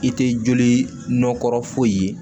I tɛ joli nɔkɔ foyi ye